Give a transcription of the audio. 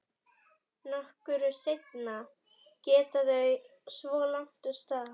Nokkru seinna geta þau svo lagt af stað.